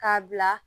K'a bila